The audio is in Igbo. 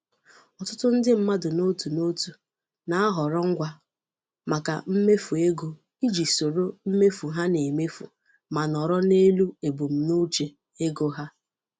Ọtụtụ ndị mmadụ n'otu n'otu na-ahọrọ ngwa maka mmefu ego iji soro mmefu ha na-emefu ma nọrọ n'elu ebumnuche ego ha.